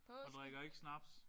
Og drikker ikke snaps